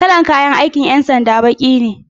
Kalar kayan aikin 'yan sanda baki ne